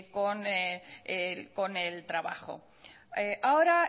con el trabajo ahora